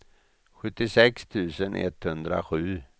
sjuttiosex tusen etthundrasju